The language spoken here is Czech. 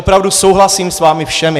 Opravdu souhlasím s vámi všemi.